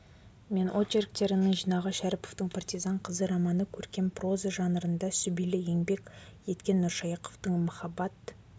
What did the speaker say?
мен очерктерінің жинағы шәріповтің партизан қызы романы көркем проза жанрында сүбелі еңбек еткен нұршайықовтың махаббат